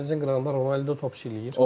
Dənizin qırağında Ronaldo top eləyir.